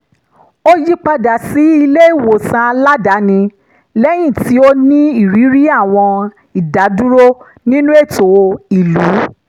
ó yípadà sí ilé-ìwòsàn aládàáni lẹ́yìn tí ó ní ìrírí àwọn ìdádúró nínú ètò ìlú